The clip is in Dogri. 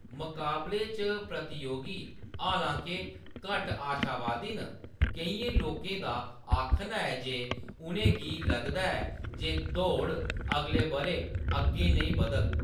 मकाबले च प्रतियोगी, हालां-के, घट्ट आशावादी न, केइयें लोकें दा आखना ऐ जे उʼनेंगी लगदा ऐ जे दौड़ अगले बʼरै अग्गें नेईं बद्‌धग।